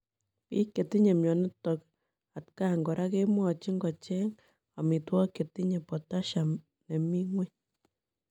Piik chetinye mionitok atkaang koraa kemwachiin kocheeng amitwogik chetinye Potasiam nemii ngweny